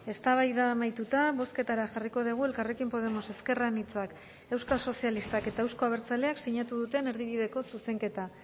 eztabaida amaituta bozketara jarriko dugu elkarrekin podemos ezker anitzak euskal sozialistak eta euzko abertzaleak sinatu duten erdibideko zuzenketa